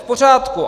V pořádku.